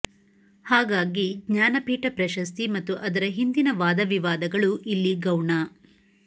ಹಾಗಾಗಿ ಜ್ಞಾನಪೀಠ ಪ್ರಶಸ್ತಿ ಮತ್ತು ಅದರ ಹಿಂದಿನ ವಾದವಿವಾದಗಳು ಇಲ್ಲಿ ಗೌಣ